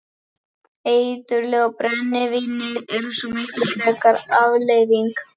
Eiturlyfin og brennivínið er svo miklu frekar afleiðing.